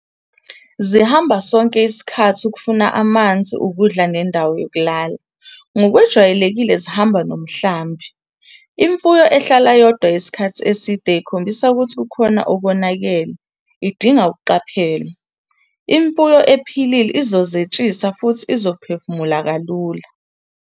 Zihamba sonke isikhathi ukufuna amanzi, ukudla nendawo yokulala - ngokwejwayelekile zihamba nomhlambi. Imfuyo ehlala iyodwa isikhathi eside ikhombisa ukuthi kukhona okonakele, idinga ukuqaphelwa. Imfuyo ephilile izozetshisa futhi izophefumula kalula.